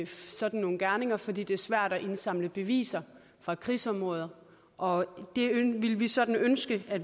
sådan nogle gerninger fordi det er svært at indsamle beviser fra krigsområder og det ville vi sådan ønske at